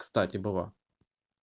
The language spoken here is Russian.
кстати была